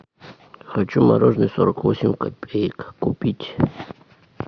хочу мороженое сорок восемь копеек купить